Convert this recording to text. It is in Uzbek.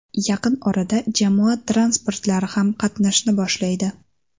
Yaqin orada jamoat transportlari ham qatnashni boshlaydi.